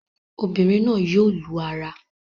Obìnrin náà yóò lu ara